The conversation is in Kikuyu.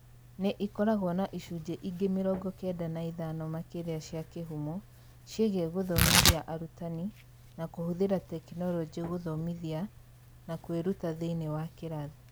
Nĩ ĩkoragwo na icunjĩ ingĩ mĩrongo kenda na ithano makĩria cia kĩhumo ciĩgiĩ gũthomithia arutani na kũhũthĩra tekinolonjĩ gũthomithia na kwĩruta thĩinĩ wa kĩrathi.